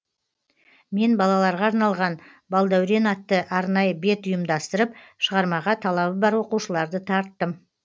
мен балаларға арналған балдәурен атты арнайы бет ұйымдастырып шығармаға талабы бар оқушыларды тарттым